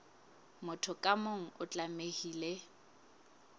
motho ka mong o tlamehile